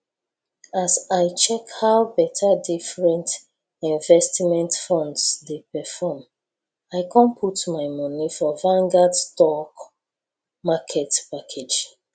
as i check how better different investment funds dey perform i com put my moni for vanguard stock market package